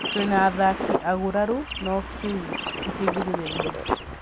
Tũrĩ na athaki aguraru no kĩu ti kĩgirĩrĩria